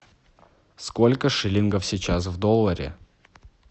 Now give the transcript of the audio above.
сколько шиллингов сейчас в долларе